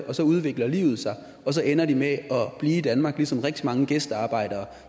og så udvikler livet sig og så ender de med at blive i danmark ligesom rigtig mange gæstearbejdere